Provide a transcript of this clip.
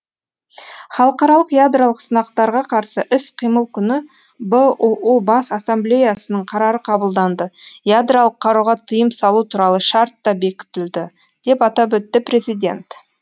халықаралық ядролық сынақтарға қарсы іс қимыл күні бұұ бас ассамблеясының қарары қабылданды ядролық қаруға тыйым салу туралы шарт та бекітілді деп атап өтті президент